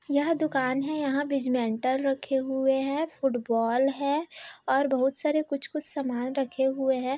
यह दुकान हैं यहां बिजमेंटल रखे हुए हैं फ़ुटबॉल हैं और बहुत सारे कुछ-कुछ समान रखे हुए हैं।